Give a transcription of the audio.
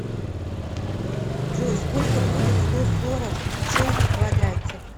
джой сколько будет сто сорок шесть в квадрате